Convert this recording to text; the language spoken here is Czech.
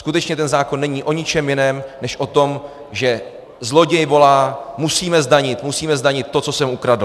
Skutečně ten zákon není o ničem jiném, než o tom, že zloděj volá: Musíme zdanit, musíme zdanit to, co jsem ukradl!